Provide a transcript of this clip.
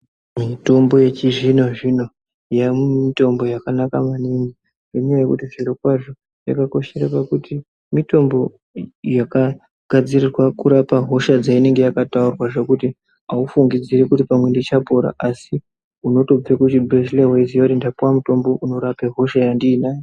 Mitombo yechizvino zvino yaamutombo yakanaka maningi ngenyaya yekuti zviro kwazvo yakakoshera pakuti mitombo yakagadzirirwa kurapa hosha dzainenge yakataurwa zvekuti ufungidziri pamwe ndichapora asi unotobva kuchibhehleya weiziya ndapuwa mutombo unorapa hosha yandinawo.